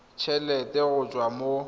t helete go tswa mo